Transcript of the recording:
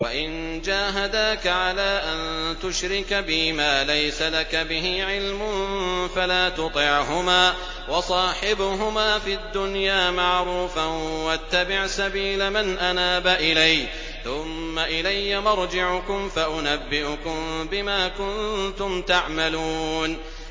وَإِن جَاهَدَاكَ عَلَىٰ أَن تُشْرِكَ بِي مَا لَيْسَ لَكَ بِهِ عِلْمٌ فَلَا تُطِعْهُمَا ۖ وَصَاحِبْهُمَا فِي الدُّنْيَا مَعْرُوفًا ۖ وَاتَّبِعْ سَبِيلَ مَنْ أَنَابَ إِلَيَّ ۚ ثُمَّ إِلَيَّ مَرْجِعُكُمْ فَأُنَبِّئُكُم بِمَا كُنتُمْ تَعْمَلُونَ